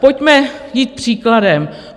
Pojďme jít příkladem.